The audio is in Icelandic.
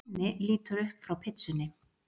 Hemmi lítur upp frá pitsunni.